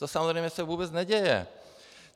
To samozřejmě se vůbec neděje.